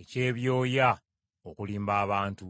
eky’ebyoya okulimba abantu.